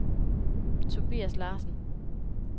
Tobias Larsen